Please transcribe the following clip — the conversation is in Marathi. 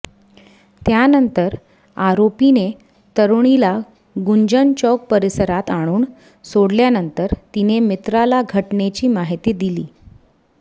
त्यानंतर आरोपीने तरूणीला गुंजन चौक परिसरात आणून सोडल्यानंतर तिने मित्राला घटनेची माहिती दिली